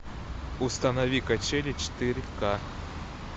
установи качели четыре ка